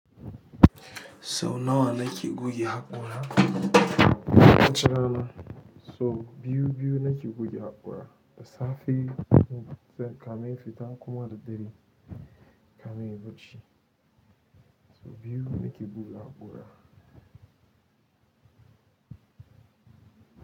Sau nawa nake goge haƙora? Wata rana sau biyu biyu nake goge haƙora. Da safe kafin na fifita ko da dare kafin na yi bacci. So biyu nake goge haƙora.